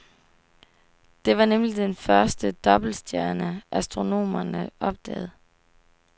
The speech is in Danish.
Det var nemlig den første dobbeltstjerne, astronomerne opdagede.